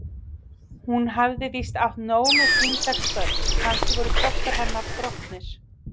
Hún hafði víst átt nóg með sín sex börn, kannski voru kraftar hennar þrotnir?